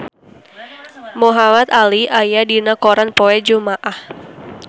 Muhamad Ali aya dina koran poe Jumaah